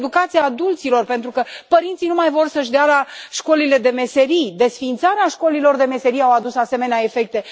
Trebuie o educație a adulților, pentru că părinții nu mai vor să își dea copiii la școlile de meserii desființarea școlilor de meserii a adus asemenea efecte.